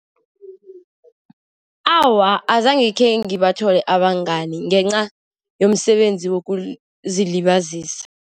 Awa, azange khengibathole abangani ngenca yomsebenzi wokuzilibazisa.